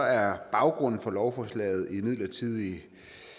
er baggrunden for lovforslaget imidlertid